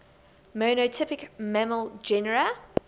monotypic mammal genera